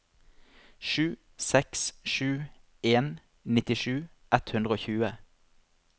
sju seks sju en nittisju ett hundre og tjue